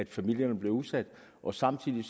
familierne bliver udsat og samtidig